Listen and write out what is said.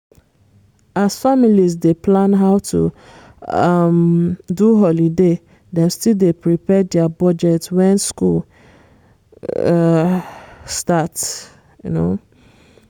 as families dey plan how to um do holiday dem still dey prepare dia budgets when school um start. um